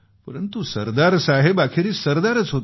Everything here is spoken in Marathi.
परंतु ते सरदार साहेब होते